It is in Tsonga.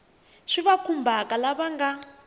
swi va khumbhaka lava nga